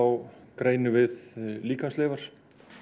greinum við líkamsleifar